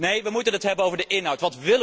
Nee, we moeten het hebben over de inhoud.